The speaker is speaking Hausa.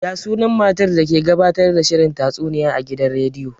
Ya sunan matar da ke gabatar da shirin tatsuniya a gidan rediyo?